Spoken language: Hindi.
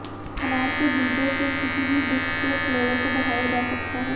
अनार के बीजों से किसी भी डिश के फ्लेवर को बढ़ाया जा सकता है